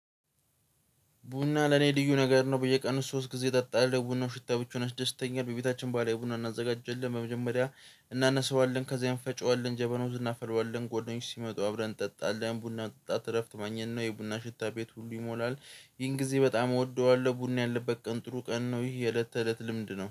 ቡና ለኔ ልዩ ነገር ነው በየቀኑ ሶስት ጊዜ እጠጣለሁ ቡናው ሽታ ብቻ ያደስተኛል። በቤታችን ባህላዊ ቡና እናዘጋጀለን በመጀመሪያ እናነሳዋለን ከዛ እንፈጨዋለን ጀበና ውስጥ እናፈላዋለን። ጓደኞች ሲመጡ አብረን እንጠጣለን ቡና መጠጣት እረፍት ማግኘት ነው። የቡና ሽታ ቤት ሁሉ ይሞላል። ይህን ጊዜ በጣም እወደዋለሁ። ቡና ያለበት ቀን ጥሩ ቀን ነው። ይህ የእለት ተእለት ልምድ ነው